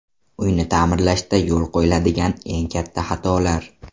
Uyni ta’mirlashda yo‘l qo‘yiladigan eng katta xatolar.